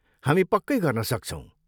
हामी पक्कै गर्न सक्छौँ।